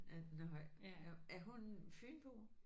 Ja nåh ja. Er hun fynbo?